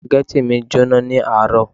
Spaghetti mi jóná ní àárọ̀